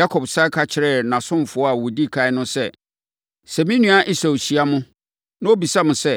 Yakob sane ka kyerɛɛ nʼasomfoɔ a wɔdi ɛkan no sɛ, “Sɛ me nua Esau hyia mo, na ɔbisa mo sɛ,